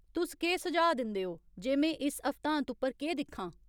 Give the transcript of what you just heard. तुस केह् सुझाऽ दिंदे ओ जे में इस हफ्तांत उप्पर केह् दिक्खां